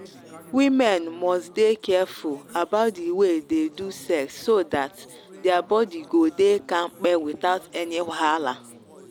women must dey careful about the way they do sex so that their body go dey kampe without any wahala.